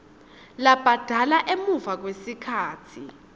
labhadala emuva kwesikhatsi